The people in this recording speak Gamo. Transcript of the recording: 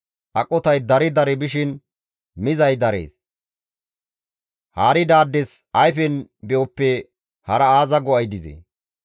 Aqotay dari dari bishin mizay darees; haaridaades ayfen be7oppe hara aaza go7ay dizee?